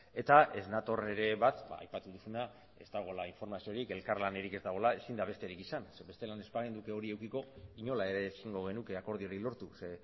eta ez nator ere bat aipatu duzuna ez dagoela informaziorik elkarlanarik ez dagoela ezin da besterik izan zeren bestela ez bagenuke hori edukiko inola ere ezingo genuke akordiorik lortu ze